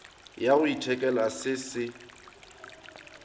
ya go ithekela se se